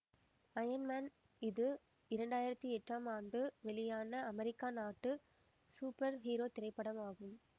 iron man இது இரண்டு ஆயிரத்தி எட்டாம் ஆண்டு வெளியான அமெரிக்கா நாட்டு சூப்பர் ஹீரோ திரைப்படம் ஆகும்